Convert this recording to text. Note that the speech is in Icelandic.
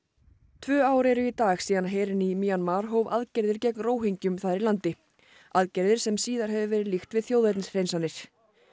tvö ár eru í dag síðan herinn í Mjanmar hóf aðgerðir gegn þar í landi aðgerðir sem síðar hefur verið líkt við þjóðernishreinsanir